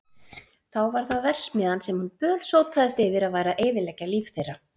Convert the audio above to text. Þá var það verksmiðjan sem hún bölsótaðist yfir að væri að eyðileggja líf þeirra.